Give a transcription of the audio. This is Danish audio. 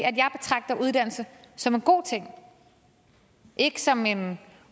jeg betragter uddannelse som en god ting og ikke som en